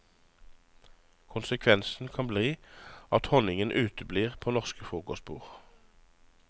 Konsekvensen kan bli at honningen uteblir på norske frokostbord.